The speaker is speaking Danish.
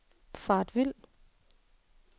faret vild